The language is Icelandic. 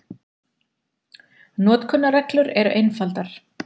Notkunarreglur eru einfaldar.